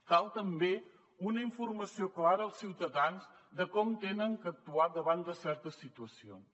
cal també una informació clara als ciutadans de com han d’actuar davant de certes situacions